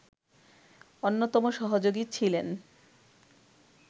অন্যতম সহযোগী ছিলেন